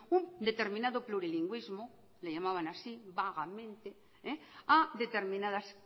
un determinado plurilingüismo le llamaban así vagamente a determinadas